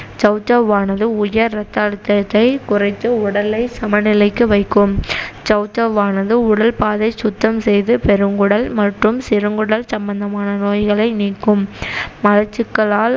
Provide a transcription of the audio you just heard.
சௌசௌவானது உயர் ரத்த அழுத்தத்தை குறைத்து உடலை சமநிலைக்கு வைக்கும் சௌசௌவானது உடல் பாதை சுத்தம் செய்து பெருங்குடல் மற்றும் சிறுகுடல் சம்மந்தமான நோய்களை நீக்கும் மலச்சிக்கலால்